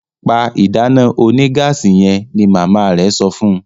Pá ìdáná onígáàsì yen! ní mama rẹ sọfún.